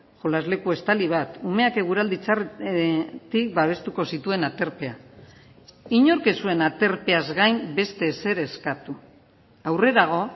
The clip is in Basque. jolasleku estali bat umeak eguraldi txarretik babestuko zituen aterpea inork ez zuen aterpeaz gain beste ezer eskatu aurrerago